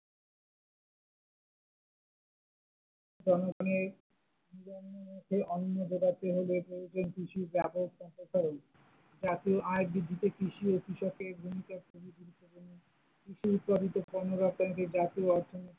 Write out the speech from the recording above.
জনগনের মুখে অন্ন জোগাতে হলে ভারতে কৃষির ব্যাপক প্রচার করেন, জাতীয় আয় বৃদ্ধিতে কৃষি ও কৃষকের ভূমিকা খুবই গুরুত্বপূর্ণ, কৃষি উৎপাদিত পণ্যের যে জাতীয় অর্থনীতি।